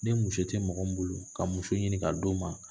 Ni muso tɛ mɔgɔ min bolo ka muso ɲini k'a d'o ma.